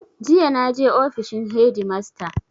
Jiya na je ofishin hedimasta.